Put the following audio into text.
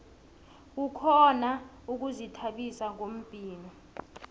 kukhona ukuzithabisa ngombhino